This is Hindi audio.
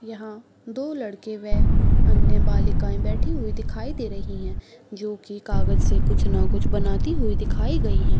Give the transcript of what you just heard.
यहाँ दो लड़के वे अन्य बालिकायें बेठी हुई दिखाई दे रही हैं जो की कागज से कुछ ना कुछ बनाती हुई दिखाई गई हैं।